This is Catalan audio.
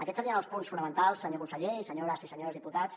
aquests serien els punts fonamentals senyor conseller i senyores i senyors dipu·tats